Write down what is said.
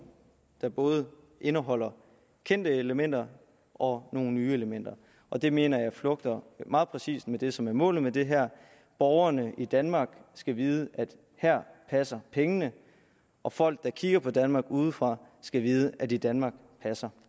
der både indeholder kendte elementer og nogle nye elementer og det mener jeg flugter meget præcist med det som er målet med det her borgerne i danmark skal vide at her passer pengene og folk der kigger på danmark udefra skal vide at i danmark passer